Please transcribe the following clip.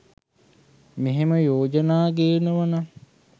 මෙහෙම යෝජන ගෙනවානම්